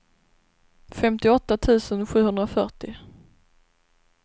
femtioåtta tusen sjuhundrafyrtio